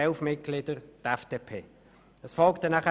sie ist mit elf Mitgliedern vertreten.